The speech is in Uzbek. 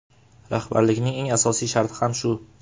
Rahbarlikning eng asosiy sharti ham shu.